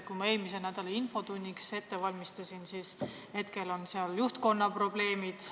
Kui ma eelmise nädala infotunniks valmistusin, selgus, et seal on juhtkonna probleemid.